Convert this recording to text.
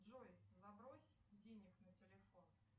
джой забрось денег на телефон